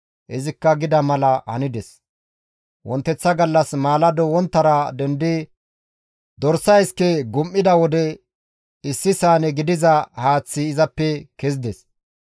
Izikka gida mala hanides; wonteththa gallas maalado wonttara dendidi dorsa iske gum7ida wode issi saane gidiza haaththi izappe kezides.